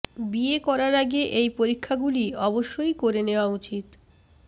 বিয়ে করার আগে এই পরীক্ষা গুলি অবশ্যই করে নেওয়া উচিত